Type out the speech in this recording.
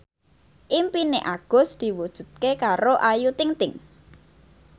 impine Agus diwujudke karo Ayu Ting ting